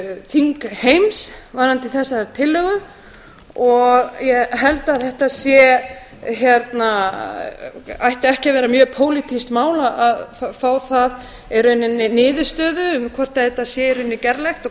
þingheims varðandi þessa tillögu og ég held að þetta ætti ekki að vera mjög pólitískt mál að fá það í rauninni niðurstöðu um hvort þetta sé í rauninni gerlegt og